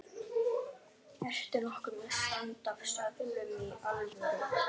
Allt varð auðveldara en áður og það var ólíkt glaðari